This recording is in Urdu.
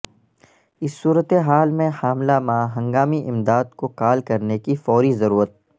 اس صورت حال میں حاملہ ماں ہنگامی امداد کو کال کرنے کی فوری ضرورت